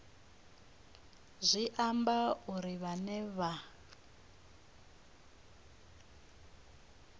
zwi amba uri vhane vha